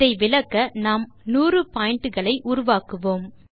இதை விளக்க நாம் 100 பாயிண்ட் களை உருவாக்குவோம்